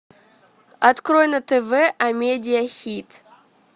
открой на тв амедия хит